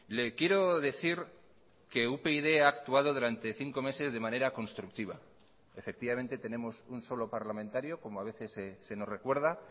le quiero decir que upyd ha actuado durante cinco meses de manera constructiva efectivamente tenemos un solo parlamentario como a veces se nos recuerda